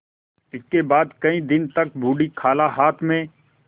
इसके बाद कई दिन तक बूढ़ी खाला हाथ में